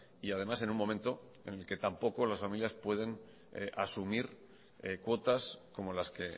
y además en un momento en el que tampoco las familias pueden asumir cuotas como las que